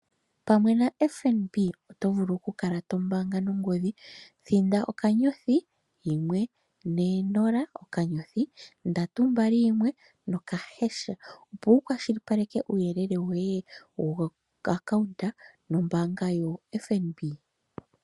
Pamwe naFNB oto vulu okukala to mbaanga nongodhi thinda *140*321# opo wukwashilipaleke uuyelele woye woakaunda nombaanga yo FNB